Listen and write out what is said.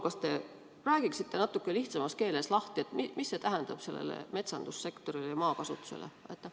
Kas te räägiksite natukene lihtsamas keeles lahti, mis see tähendab sellele metsandussektorile ja maakasutusele?